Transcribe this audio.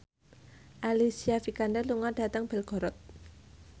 Alicia Vikander lunga dhateng Belgorod